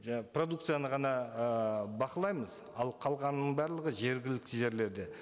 продукцияны ғана ыыы бақылаймыз ал қалғанның барлығы жергілікті жерлерде